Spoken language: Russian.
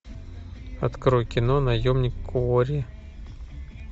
открой кино наемник куорри